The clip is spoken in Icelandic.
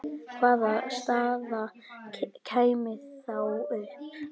Hvaða staða kæmi þá upp?